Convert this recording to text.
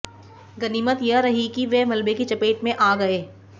गनीमत यह रही कि वे मलबे की चपेट में आ गए